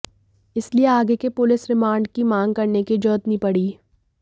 इसलिए आगे के पुलिस रिमांड की मांग करने की जरुरत नहीं पड़ी